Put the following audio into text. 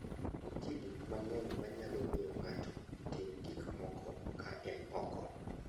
Nitie gik mang'eny manyalo miyo ng'ato otim gik moko ka en oko.